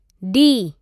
D